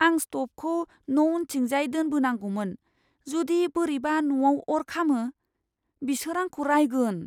आं स्तबखौ न' उनथिंजाय दोनबोनांगौमोन। जुदि बोरैबा न'आव अर खामो, बिसोर आंखौ राइगोन।